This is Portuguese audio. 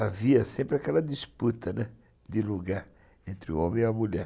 Havia sempre aquela disputa, né, de lugar, entre o homem e a mulher.